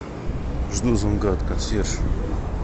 жду звонка от консьержа